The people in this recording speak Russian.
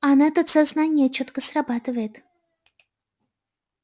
а на этот сознание чётко срабатывает